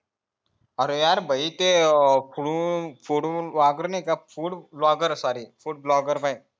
आरे यार भई ते वागणे नाय का food bloger